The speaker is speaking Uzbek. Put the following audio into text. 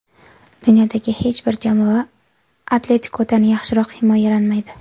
Dunyodagi hech bir jamoa ‘Atletiko‘dan yaxshiroq himoyalanmaydi.